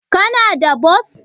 Kana da bos?